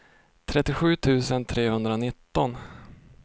trettiosju tusen trehundranitton